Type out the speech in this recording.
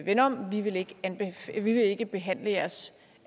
vend om vi vil ikke ikke behandle jeres